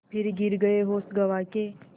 फिर गिर गये होश गँवा के